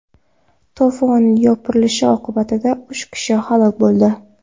To‘fon yopirilishi oqibatida uch kishi halok bo‘ldi .